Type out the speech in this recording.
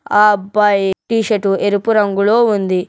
ఆ అబ్బాయి టీషర్ట్ ఎరుపు రంగులో ఉంది.